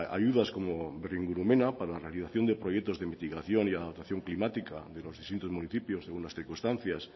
ayudas como berringurumena para realización de proyectos de investigación y de adaptación climática de los distintos municipios en unas circunstancias